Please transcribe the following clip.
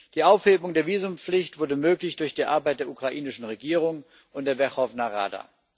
Die Aufhebung der Visumpflicht wurde möglich durch die Arbeit der ukrainischen Regierung und der Werchowna Rada.